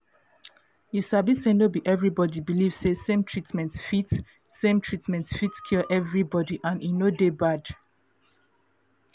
you sabi say no be everybody believe say same treatment fit same treatment fit cure everybody and e no dey bad